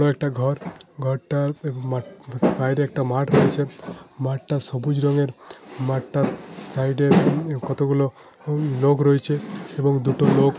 একটা ঘর ঘর টার ও এম বাইরে একটা মাঠ আছে । মাঠ টা সবুজ রঙের । মাঠ টার সাইড এ কত গুলো লোক রয়েছে এবং দুটো লোক ।